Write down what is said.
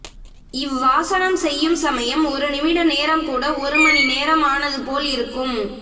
இவ்வாசனம் செய்யும் சமயம் ஒரு நிமிட நேரம் கூட ஒரு மணி நேரம் ஆனது போல் இருக்கும்